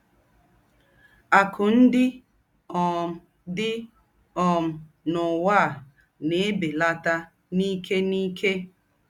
Àkụ́ ńdị́ um dị́ um n’ụ́wá ná-èbèlàtà n’íkè n’íkè.